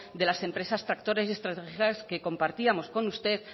de las empresas tractoras y estratégicas que compartíamos con usted